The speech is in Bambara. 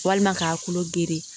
Walima k'a kulo geren